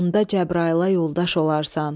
Onda Cəbraila yoldaş olarsan.